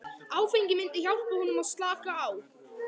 Áfengið myndi hjálpa honum að slaka á.